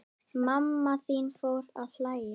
Mamma þín fór að hlæja.